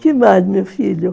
Que mais, meu filho?